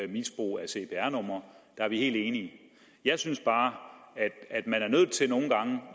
misbrug af cpr numre der er vi helt enige jeg synes bare at